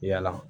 Yala